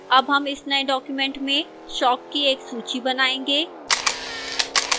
अब हम इस now document में शौक की एक सूची बनाएंगे